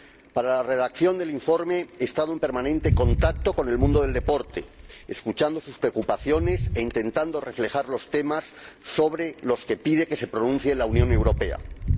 Para la redacción del informe he estado en permanente contacto con el mundo del deporte, escuchando sus preocupaciones e intentando reflejar los temas sobre los que pide que la Unión Europea se pronuncie.